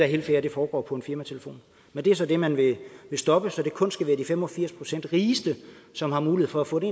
helt fair at det foregår på en firmatelefon men det er så det man vil stoppe så det kun skal være de fem og firs procent rigeste som har mulighed for at få det